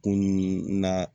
Kunun na